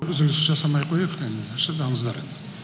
үзіліс жасамай ақ қояйық енді шыдаңыздар